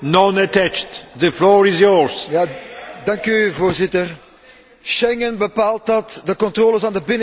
Voorzitter, Schengen bepaalt dat de controles aan de